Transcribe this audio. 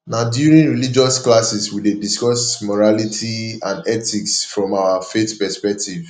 na during religious classes we dey discuss morality and ethics from our faith perspective